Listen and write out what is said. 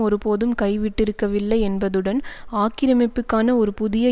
ஒருபோதும் கைவிட்டிருக்கவில்லை என்பதுடன் ஆக்கிரமிப்புக்கான ஒரு புதிய